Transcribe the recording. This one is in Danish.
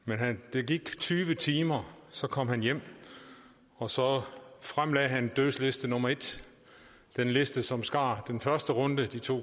der gik tyve timer så kom han hjem og så fremlagde han dødsliste nummer en den liste som skar den første runde de to